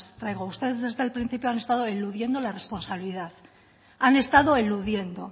traigo ustedes desde el principio han estado eludiendo la responsabilidad han estado eludiendo